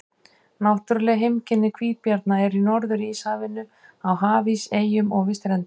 Náttúruleg heimkynni hvítabjarna eru í Norður-Íshafinu, á hafís, eyjum og við strendur.